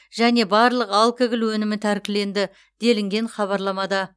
және барлық алкоголь өнімі тәркіленді делінген хабарламада